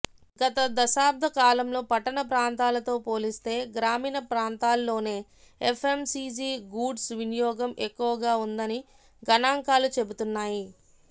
గత దశాబ్ద కాలంలో పట్టణ ప్రాంతాలతో పోలిస్తే గ్రామీణ ప్రాంతాల్లోనే ఎఫ్ఎంసీజీ గూడ్స్ వినియోగం ఎక్కువగా ఉన్నదని గణాంకాలు చెబుతున్నాయి